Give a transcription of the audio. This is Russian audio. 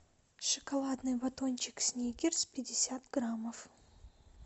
шоколадный батончик сникерс пятьдесят граммов